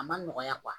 A ma nɔgɔya